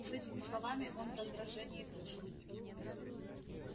с этими словами он в раздражении вышел